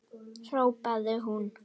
hrópaði hún.